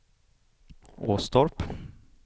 Åstorp